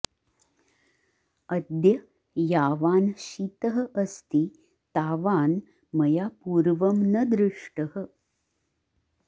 अद्य यावान् शीतः अस्ति तावान् मया पूर्वं न दृष्टः